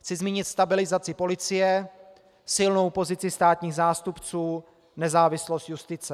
Chci zmínit stabilizaci policie, silnou pozici státních zástupců, nezávislost justice.